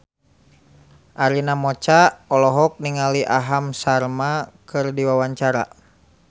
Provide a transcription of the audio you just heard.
Arina Mocca olohok ningali Aham Sharma keur diwawancara